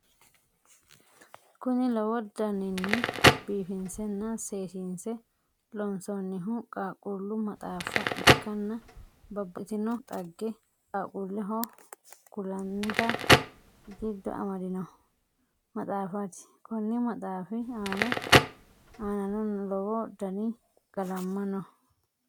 Kuni lowo daniinni biifinsenna seesinse loonsonnihu qaaqqullu maxaaffa ikkanna babaxitinno xagge qaaqqulleho kullanita giddo amadinno maxaafati konni maxaaffi aanano lowo dani qalamma no.